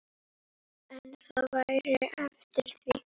En það væri eftir því.